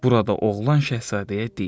Burada oğlan şahzadəyə deyir: